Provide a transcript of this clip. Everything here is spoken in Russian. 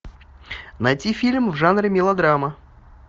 найти фильм в жанре мелодрама